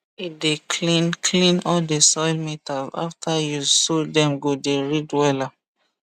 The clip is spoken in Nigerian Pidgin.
he dey clean clean all the soil meters after use so dem go dey read wella